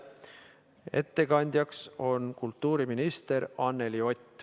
Ettekandjaks on kultuuriminister Anneli Ott.